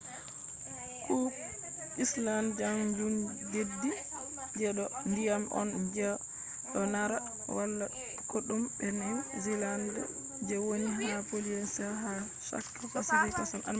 cook islands kanjum deddi je do ndiyam on je do narra wala kodume be new zealand je woni ha polynesia ha chaka pacific ocean je funa